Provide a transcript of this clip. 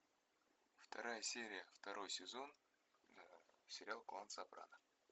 вторая серия второй сезон сериал клан сопрано